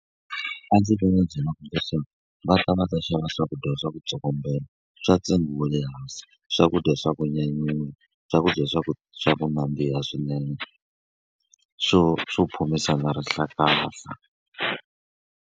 A ndzi ta va byela leswaku va ta va ta xava swakudya swa ku tsokombela, swa ntsengo wa le hansi. Swakudya swa ku nyanyula, swakudya swa ku swa ku nandziha swinene swo swo phomisa na rihlakahla.